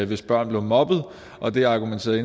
hvis børn blev mobbet og det argumenterede